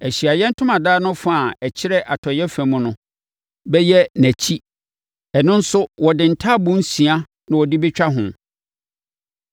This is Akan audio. Ahyiaeɛ Ntomadan no fa a ɛkyerɛ atɔeɛ fam no bɛyɛ nʼakyi. Ɛno nso, wɔde ntaaboo nsia na wɔde bɛtwa ho